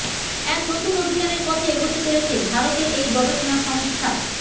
এক নতুন অভিযানের পথে এগোতে চলেছে ভারতের এই গবেষণা সংস্থা